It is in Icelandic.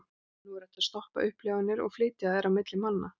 Nú hægt að stoppa upplifanir upp og flytja þær á milli manna.